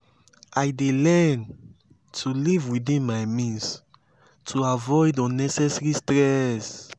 i dey learn to live within my means to avoid unnecessary stress.